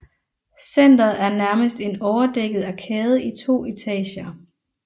Centeret er nærmest en overdækket arkade i to etager